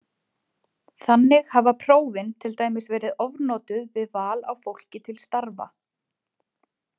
Þannig hafa prófin til dæmis verið ofnotuð við val á fólki til starfa.